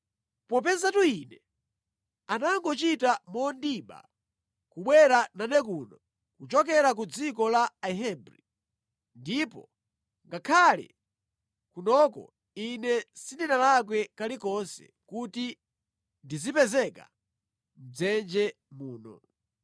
Popezatu ine anangochita mondiba kubwera nane kuno kuchokera ku dziko la Ahebri, ndipo ngakhale kunoko, ine sindinalakwe kali konse kuti ndizipezeka mʼdzenje muno.”